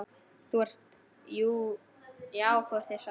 Já þú ert hissa.